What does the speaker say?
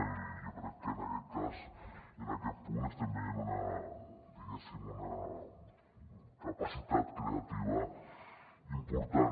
i jo crec que en aquest cas i en aquest punt estem veient una diguéssim capacitat creativa important